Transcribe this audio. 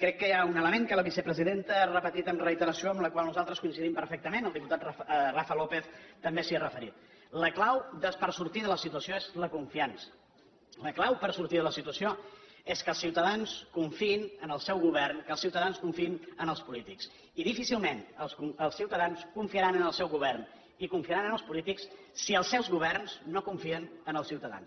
crec que hi ha un element que la vicepresidenta ha repetit amb reiteració en el qual nosaltres coincidim perfectament el diputat rafa lópez també s’hi ha referit la clau per sortir de la situació és la confiança la clau per sortir de la situació és que els ciutadans confiïn en el seu govern que els ciutadans confiïn en els polítics i difícilment els ciutadans confiaran en el seu govern i confiaran en els polítics si els seus governs no confien en els ciutadans